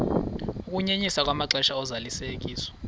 ukunyenyiswa kwamaxesha ozalisekiso